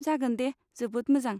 जागोन दे, जोबोद मोजां।